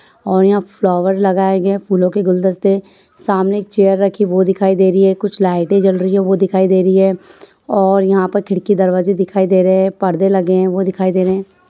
और यहाँ फ्लॉवर्स लगाये गए हैं फूलो के गुलदस्ते सामने एक चेयर रखी वो दिखाई दे रही है कुछ लाइटे जल रही हैं वो दिखाई दे रही है और यहाँ पर खिड़की दरवजे दिखाई दे रहे हैं पर्दे लगे हैं वो दिखाई दे रहे हैं।